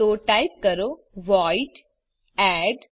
તો ટાઈપ કરો void add